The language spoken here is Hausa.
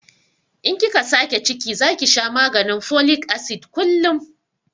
In kika sake ciki zaki sha maganin folik asid kullum